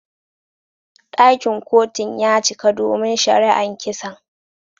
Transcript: Dakin Kotun ya cika domin shari'an kisan.